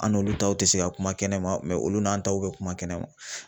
An n'olu taw tɛ se ka kuma kɛnɛma olu n'an taw bɛ kuma kɛnɛma